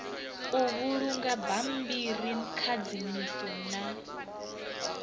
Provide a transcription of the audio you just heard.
u vhulunga dzibammbiri khadzimiso na